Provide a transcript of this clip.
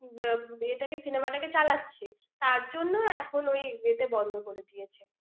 আহ উম cinema টাকে চালাচ্ছে। তার জন্য এখন উহ ইয়েত~ বন্ধ করে দিয়েছে।